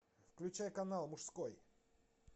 включай канал мужской